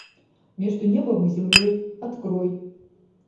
между небом и землей открой